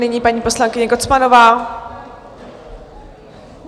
Nyní paní poslankyně Kocmanová.